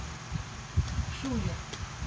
шулер